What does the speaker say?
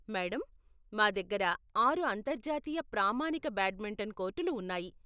Madam, మా దగ్గర ఆరు అంతర్జాతీయ ప్రామాణిక బ్యాడ్మింటన్ కోర్టులు ఉన్నాయి.